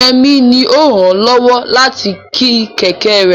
Yemi ni ó ràn án lọ́wọ́ láti ti kẹ̀kẹ́ rẹ̀.